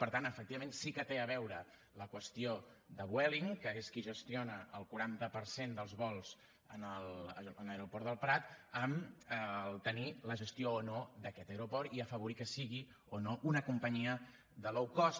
per tant efectivament sí que té a veure la qüestió de vueling que és qui gestiona el quaranta per cent dels vols en l’aeroport del prat amb el fet de tenir la gestió o no d’aquest aeroport i afavorir que sigui o no una companyia de low cost